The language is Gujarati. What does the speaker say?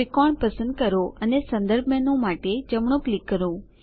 ત્રિકોણ પસંદ કરો અને સંદર્ભ મેનૂ માટે જમણું ક્લિક કરો